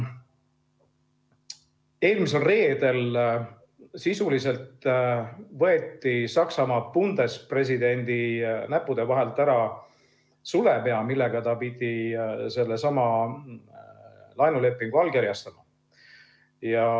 Eelmisel reedel sisuliselt võeti Saksamaal Bundespräsident'i näppude vahelt ära sulepea, millega ta pidi sellesama laenulepingu allkirjastama.